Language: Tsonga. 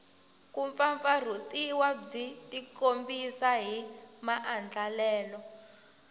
kumpfampfarhutiwa byi tikombisa hi maandlalelo